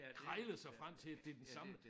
Krejle sig frem til at det den samme